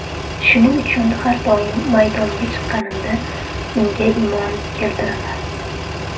Shuning uchun har doim maydonga chiqqanimda unga imon keltiraman.